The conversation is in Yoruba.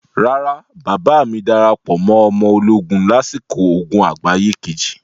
Rárá, bàbáà mi darapọ̀ mọ ọmọ ológun lásìkò ogun àgbáyé Kejì.